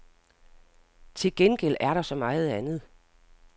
Til gengæld er der så meget andet.